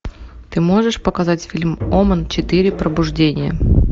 ты можешь показать фильм омен четыре пробуждение